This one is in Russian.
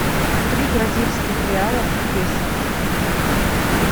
три бразильских реала в песо